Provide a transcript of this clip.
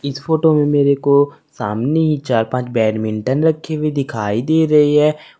इस फोटो में मेरे को सामने ही चार पांच बैडमिंटन रखें हुये दिखाई दे रहे हैं।